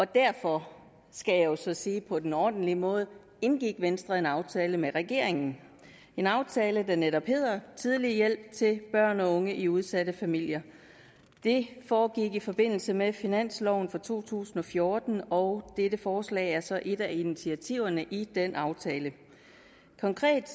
derfor skal jeg så sige på den ordentlige måde indgik venstre en aftale med regeringen det en aftale der netop hedder tidlig hjælp til børn og unge i udsatte familier det foregik i forbindelse med finansloven for to tusind og fjorten og dette forslag er så et af initiativerne i den aftale konkret